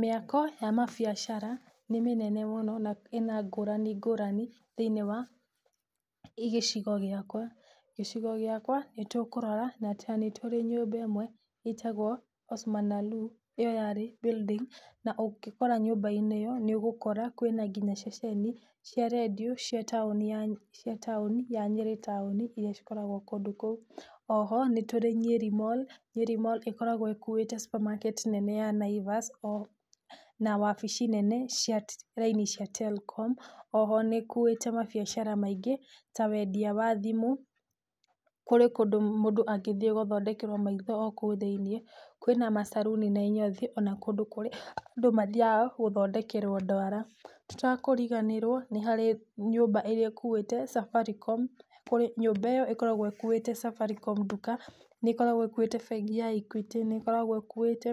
Mĩako ya mabiacara, nĩmĩnene mũno, na ĩna ngũrani ngũrani, thĩinĩ wa gĩcigo gĩakwa, gĩcigo gĩakwa, nĩtũkũrora nĩatĩ nĩtũrĩ nyũmba ĩmwe ĩtagwo Osman Allu, ĩyo yarĩ building na ũngĩkora nyũmba-inĩ ĩyo, nĩũgũkora kwĩna nginya ceceni cia rendio, cia taũni ya, cia taũni ya Nyĩrĩ taũni, iria cikoragwo kũndũ kũu. Oho, nĩtũrĩ Nyeri mall, Nyeri mall ĩkoragwo ĩkuĩte supermarket nene ya naivas, na wabici nene cia raini cia Telcom, oho nĩ ĩkuĩte mabiacara maingĩ, ta wendia wa thimũ, kũrĩ kũndũ mũndũ angĩthiĩ gũthondekerwo maitho okũu thĩiniĩ, kwĩna macaruni na inyothi, ona kũndũ kũrĩa andũ mathiaga gũthondekerwo ndwara, tũtekũriganĩrwo nĩharĩ nyũmba ĩrĩa ĩkuĩte Safaricom, kũrĩ nyũmba ĩyo ĩkoragwo ĩkuĩte Safaricom nduka, nĩ ĩkoragwo ĩkuĩte bengi ya Equity, nĩ ĩkoragwo ĩkuĩte